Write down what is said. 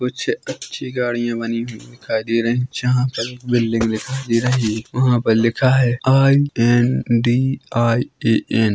कुछ अच्छी गाड़ियां बनी हुई दिखाई दे रही है जहां पर एक बिल्डिंग दिखाई दे रही है वह पर लिखा है आई_एन_डी_आई_ऐ_एन --